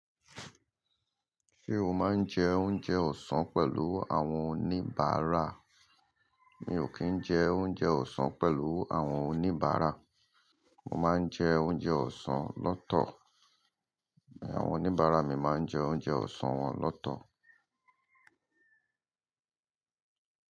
Ṣé o máa ń jẹ oúnjẹ ọ̀sán pẹ̀lú àwọn oníbàárà? Mi ò kí ń jẹ oúnjẹ ọ̀sán pẹ̀lú àwọn oníbàárà, mo máa ń jẹ oúnjẹ ọ̀sán lọ́tọ̀, àwọn oníbàárà mi máa ń jẹ oúnjẹ ọ̀sán wọn lọ́tọ̀